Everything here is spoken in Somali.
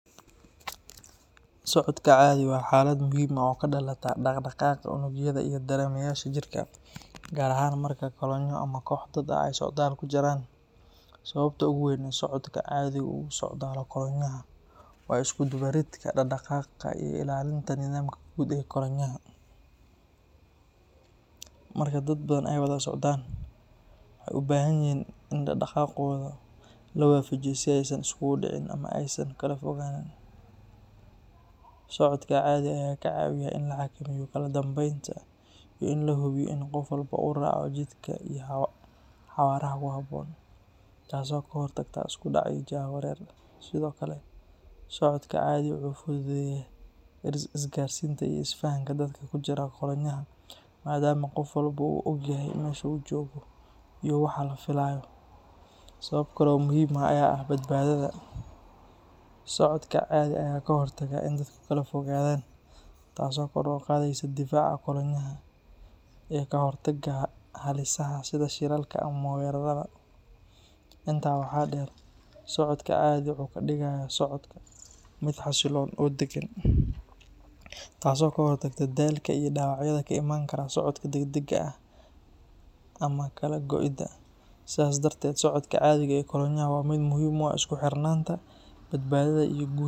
Socodka cadhi waa xaalad muhiim ah oo ka dhalata dhaq-dhaqaaqa unugyada iyo dareemayaasha jidhka, gaar ahaan marka kolonyo ama koox dad ah ay socdaal ku jiraan. Sababta ugu weyn ee socodka cadhi uu ugu socdalo kolonyaha waa isku dubaridka dhaqdhaqaaqa iyo ilaalinta nidaamka guud ee kolonyaha. Marka dad badan ay wada socdaan, waxay u baahan yihiin in dhaqdhaqaaqooda la waafajiyo si aysan isugu dhicin ama aysan kala fogaannin. Socodka cadhi ayaa ka caawiyaa in la xakameeyo kala dambeynta iyo in la hubiyo in qof walba uu raaco jidka iyo xawaaraha ku habboon, taasoo ka hortagta isku dhac iyo jahawareer. Sidoo kale, socodka cadhi wuxuu fududeeyaa isgaarsiinta iyo isfahanka dadka ku jira kolonyaha, maadaama qof walba uu ogyahay meesha uu joogo iyo waxa la filayo. Sabab kale oo muhiim ah ayaa ah badbaadada; socodka cadhi ayaa ka hortaga in dadku kala fogaadaan, taasoo kor u qaadeysa difaaca kolonyaha iyo ka hortagga halisaha sida shilalka ama weerarada. Intaa waxaa dheer, socodka cadhi wuxuu ka dhigayaa socodka mid xasiloon oo deggan, taasoo ka hortagta daalka iyo dhaawacyada ka imaan kara socodka degdega ah ama kala go’ida. Sidaas darteed, socodka cadhi ee kolonyaha waa mid muhiim u ah isku xirnaanta, badbaadada, iyo guu..